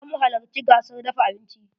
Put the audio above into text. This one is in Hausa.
Zamu halacci gasar dafa abincin.